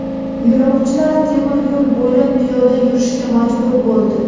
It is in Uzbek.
Yo‘lovchilar temir yo‘l bo‘ylab piyoda yurishga majbur bo‘ldi.